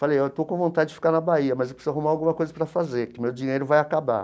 Falei, eu estou com vontade de ficar na Bahia, mas eu preciso arrumar alguma coisa para fazer, que meu dinheiro vai acabar.